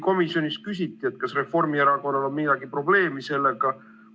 Komisjonis isegi küsiti, kas Reformierakonnal on mingit probleemi sellega.